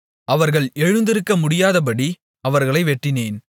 அவர்கள் எழுந்திருக்க முடியாதபடி அவர்களை வெட்டினேன்